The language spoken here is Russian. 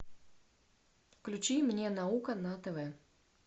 включи мне наука на тв